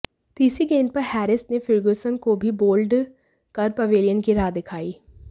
तीसरी गेंद पर हैरिस ने फर्ग्युसन को भी बोल्ड कर पवेलियन की राह दिखाई